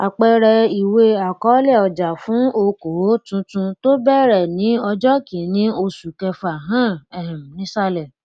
àpẹẹrẹ ìwé àkọọlẹ ọjà fún okoòò tuntun tó bẹrẹ ní ọjọ kínní oṣù kẹfà hàn um nísàlẹ